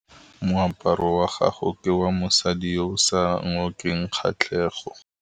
Moaparô wa gagwe ke wa mosadi yo o sa ngôkeng kgatlhegô.